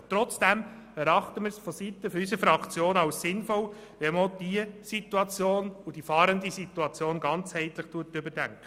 Trotzdem erachten wir es seitens der BDP-Fraktion für sinnvoll, auch diese Situation und damit die Situation der Fahrenden ganzheitlich zu überdenken.